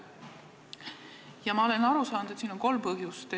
Ja ma olen aru saanud, et siin on kolm põhjust.